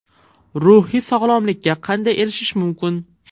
Ruhiy sog‘lomlikka qanday erishish mumkin?